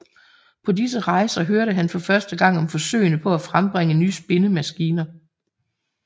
På disse rejser hørte han for første gang om forsøgene på at frembringe nye spindemaskiner